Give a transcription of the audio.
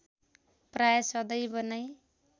प्राय सदैव नै